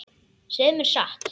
Segðu mér satt.